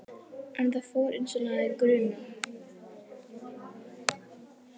En það fór einsog hana hafði grunað.